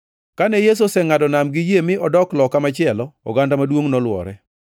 Kane Yesu osengʼado nam gi yie mi odok loka machielo, oganda maduongʼ nolwore.